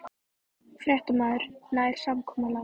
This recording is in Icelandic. Fréttamaður: Nær samkomulag?